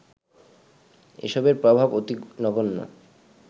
এসবের প্রভাব অতি নগণ্য